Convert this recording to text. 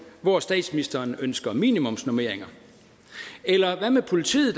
hvor statsministeren ønsker minimumsnormeringer eller hvad med politiet